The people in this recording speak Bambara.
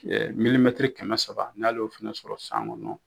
milimɛtiri kɛmɛ saba n'ale ye o fana sɔrɔ san kɔnɔ.